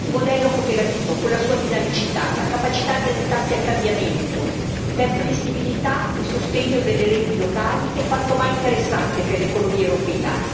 Il modello cooperativo, con la sua dinamicità, la capacità di adattarsi al cambiamento, per flessibilità e sostegno delle reti locali è quantomai interessante per l'economia europea.